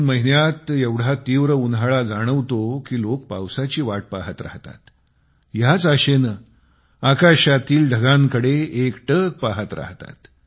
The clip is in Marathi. जून महिन्यात एवढा तीव्र उन्हाळा जाणवतो कि लोक पावसाची वाट पहात राहतात आणि ह्याच आशेने आकाशातील ढगांकडे एकटक पहात राहतात